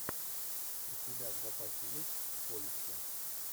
у тебя в запасе есть в поиске